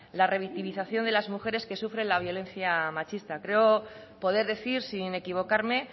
la revictimización de las mujeres que sufren la violencia machista creo poder decir sin equivocarme